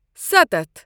سَتتھ